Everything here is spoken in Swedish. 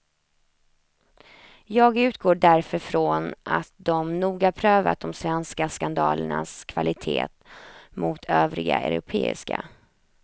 Jag utgår därför från att de noga prövat de svenska skandalernas kvalitet mot övriga europeiska.